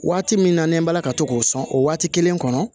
Waati min na n'an bɔla ka to k'o sɔn o waati kelen kɔnɔ